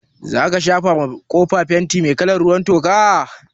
Zaka shafa ma kofa fenti mai kalar ruwan toka?